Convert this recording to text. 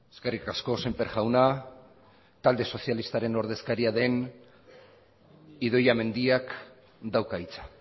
eskerrik asko sémper jauna talde sozialistaren ordezkaria den idoia mendiak dauka hitza